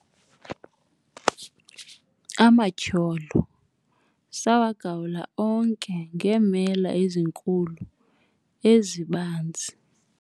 amatyholo sawagawula onke ngeemela ezinkulu ezibanzi